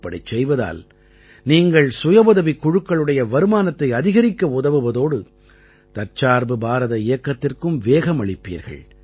இப்படிச் செய்வதால் நீங்கள் சுயஉதவிக் குழுக்களுடைய வருமானத்தை அதிகரிக்க உதவுவதோடு தற்சார்பு பாரத இயக்கத்திற்கும் வேகமளிப்பீர்கள்